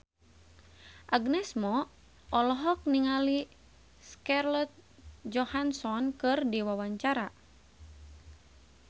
Agnes Mo olohok ningali Scarlett Johansson keur diwawancara